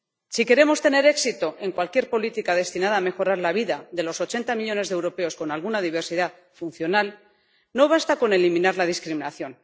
Si queremos tener éxito en cualquier política destinada a mejorar la vida de los 80 millones de europeos con alguna diversidad funcional, no basta con eliminar la discriminación.